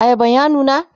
ayaban ya nuna?